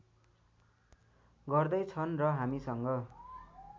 गर्दै छन् र हामीसँग